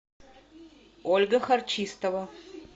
ольга харчистова